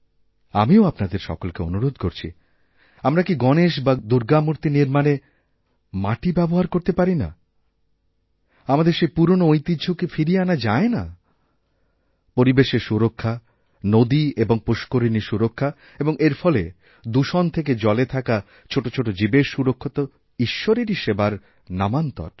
আমিও আপনাদের সকলকেঅনুরোধ করছি আমরা কি গণেশ বা দুর্গা মূর্তি নির্মাণে মাটি ব্যবহার করতে পারি না আমাদেরসেই পুরনো ঐতিহ্য কি ফিরিয়ে আনা যায় না পরিবেশের সুরক্ষা নদী এবং পুষ্করিণীসুরক্ষা এবং এর ফলে দূষণ থেকে জলে থাকা ছোট ছোট জীবের সুরক্ষা তো ঈশ্বরের সেবারইনামান্তর